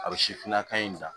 A bɛ sifinnaka in da